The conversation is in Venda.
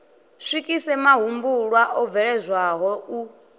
swikise mahumbulwa o bveledzwaho u